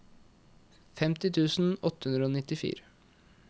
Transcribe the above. femti tusen åtte hundre og nittifire